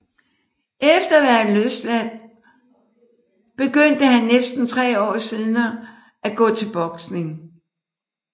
Efter at være blevet løsladt begyndte han næsten tre år senere at gå til boksning